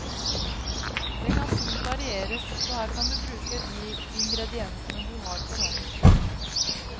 Den kan fint varieres, så her kan du bruke de ingrediensene du har for hånden.